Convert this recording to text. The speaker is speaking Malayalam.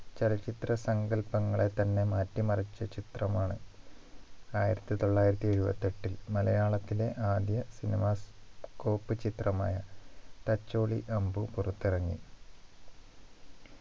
ചലച്ചിത്ര സങ്കൽപ്പങ്ങളെ തന്നെ മാറ്റി മറിച്ച ചിത്രമാണ് ആയിരത്തി തൊള്ളായിരത്തി എഴുപത്തി എട്ടിൽ മലയാളത്തിലെ ആദ്യ cinemascope ചിത്രമായ തച്ചോളി അമ്പു പുറത്തിറങ്ങി